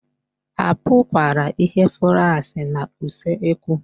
A pụkwara ịhụ flaskị na usekwu